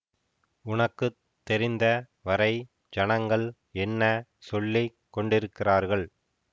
உனக்கு தெரிந்த வரை ஜனங்கள் என்ன சொல்லி கொண்டிருக்கிறார்கள்